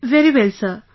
Very well Sir